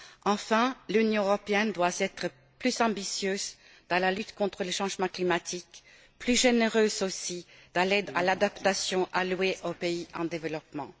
Enfin, l'Union européenne doit être plus ambitieuse dans la lutte contre les changements climatiques, plus généreuse aussi dans l'aide à l'adaptation allouée aux pays en développement.